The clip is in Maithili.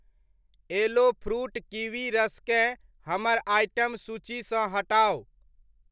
एलो फ़्रूट किवी रस केँ हमर आइटम सूचीसँ हटाउ।